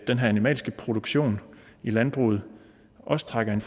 den animalske produktion i landbruget også trækker i en